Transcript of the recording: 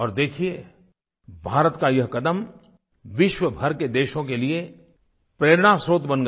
और देखिए भारत का ये कदम विश्वभर के देशों के लिए प्रेरणास्रोत बन गया